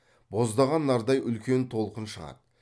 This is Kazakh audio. боздаған нардай үлкен толқын шығады